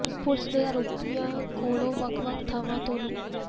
police ਨੇ ਆਰੋਪੀਆਂ ਕੋਲੋਂ ਵੱਖ ਵੱਖ ਥਾਵਾਂ ਤੋਂ ਲੁੱ